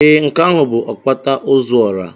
Ee, nke ahụ bụ Okpata ozuora.